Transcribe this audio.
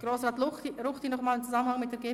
Kommissionssprecher der GPK.